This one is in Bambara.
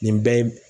Nin bɛɛ ye